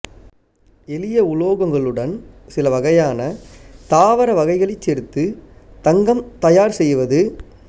எளிய உலோகங்களுடன் சிலவகையான தாவர வகைகளைச் சேர்த்து தங்கம் தயார் செய்வது